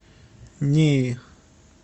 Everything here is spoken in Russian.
неи